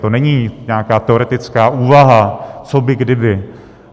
To není nějaká teoretická úvaha co by kdyby.